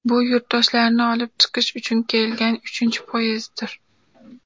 Bu yurtdoshlarni olib chiqish uchun kelgan uchinchi poyezddir.